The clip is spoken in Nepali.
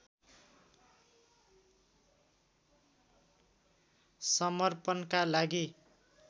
समर्पणका लागि